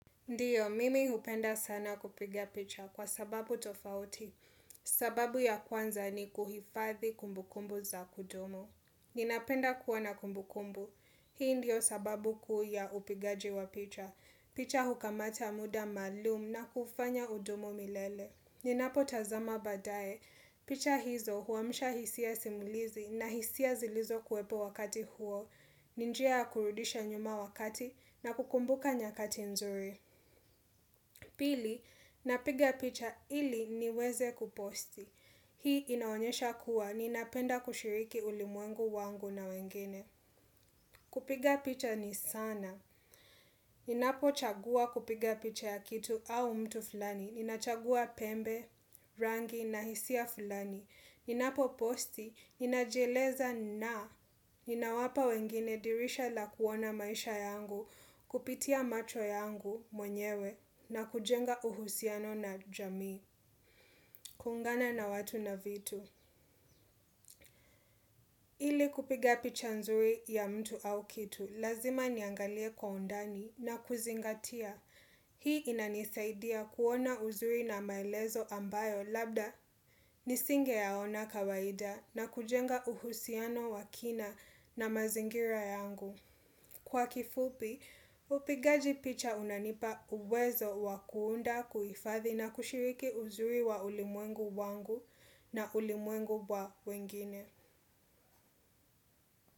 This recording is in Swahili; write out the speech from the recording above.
Ndiyo, mimi hupenda sana kupigia picha kwa sababu tofauti. Sababu ya kwanza ni kuhifathi kumbukumbu za kudumu. Ninapenda kuwa na kumbukumbu. Hii ndiyo sababu kuu ya upigaji wa picha. Picha hukamata muda maalum na kufanya kudumu milele. Ninapotazama baadaye. Picha hizo huamsha hisia simulizi na hisia zilizokuwepo wakati huo. Ni njia ya kurudisha nyuma wakati na kukumbuka nyakati nzuri. Pili, napiga picha ili niweze kuposti. Hii inaonyesha kuwa, ninapenda kushiriki ulimwengu wangu na wengine. Kupiga picha ni sana. Ninapochagua kupiga picha ya kitu au mtu flani. Ninachagua pembe, rangi na hisia fulani. Ninapo-posti, ninajieleza na, ninawapa wengine dirisha la kuona maisha yangu, kupitia macho yangu mwenyewe, na kujenga uhusiano na jamii, kuungana na watu na vitu. Ili kupiga picha nzuri ya mtu au kitu, lazima niangalie kwa undani na kuzingatia. Hii inanisaidia kuona uzuri na maelezo ambayo labda nisingeyaona kawaida na kujenga uhusiano wa kina na mazingira yangu. Kwa kifupi, upigaji picha unanipa uwezo wa kuunda, kuhifadhi na kushiriki uzuri wa ulimwengu wangu na ulimwengu wa wengine.